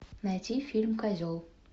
найти фильм козел